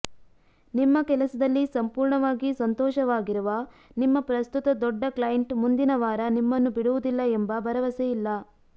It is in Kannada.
ನಿಮ್ಮ ಕೆಲಸದಲ್ಲಿ ಸಂಪೂರ್ಣವಾಗಿ ಸಂತೋಷವಾಗಿರುವ ನಿಮ್ಮ ಪ್ರಸ್ತುತ ದೊಡ್ಡ ಕ್ಲೈಂಟ್ ಮುಂದಿನ ವಾರ ನಿಮ್ಮನ್ನು ಬಿಡುವುದಿಲ್ಲ ಎಂಬ ಭರವಸೆ ಇಲ್ಲ